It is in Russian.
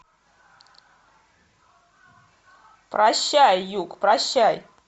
прощай юг прощай